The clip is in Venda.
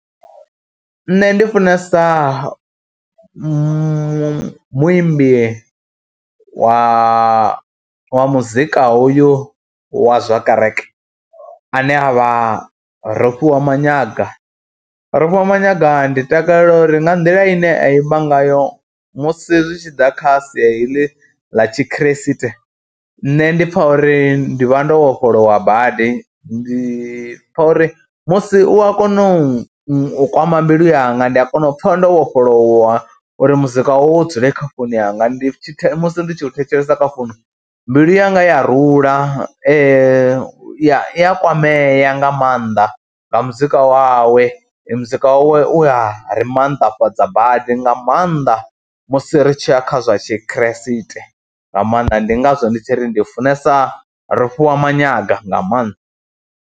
Nṋe ndi funesa mu muimbi wa muzika hoyu wa zwa kereke ane a vha Rofhiwa Manyaga, Rofhiwa Manyaga ndi takalela uri nga nḓila ine a imba ngayo musi zwi tshi ḓa kha sia heḽi ḽa tshikriste nṋe ndi pfha uri ndi vha ndo vhofholowa badi, ndi pfha uri musi u a kona u kwama mbilu yanga, ndi a kona u pfha ndo vhofholowa uri muzika wawe u dzule kha founu yanga. Ndi tshi musi ndi tshi u thetshelesa kha founu mbilu yanga ya rula i ya kwamea nga maanḓa nga muzika wawe. Muzika wawe u ya ri maanḓafhadza badi nga maanḓa musi ri tshi ya kha zwa tshikhirisiṱe nga maanḓa, ndi ngazwo ndi tshi ri ndi funesa Rofhiwa Manyaga nga maanḓa.